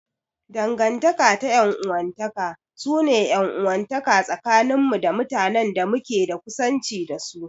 Dangantaka ta 'yan uwantaka su ne 'yan uwantaka tsakanin mu da mutanen da muke da kusanci da su.